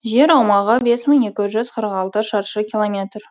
жер аумағы бес мың екі жүз қырық алты шаршы километр